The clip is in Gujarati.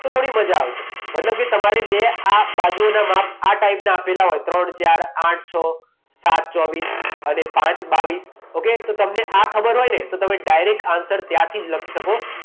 તો થોડી મજા આવશે. મતલબ કે તમારે બે આ બાજુઓના માપ આ ટાઈપના આપેલા હોય ત્રણ, ચાર, આઠ, છ, સાત, ચોવીસ અને પાંચ બાવીસ ઓકે? તો તમને આ ખબર હોયને તો તમે ડાયરેક્ટ આન્સર ત્યાંથી જ લખી શકો.